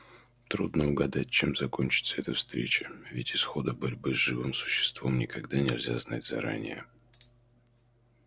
трудно угадать чем кончится эта встреча ведь исхода борьбы с живым существом никогда нельзя знать заранее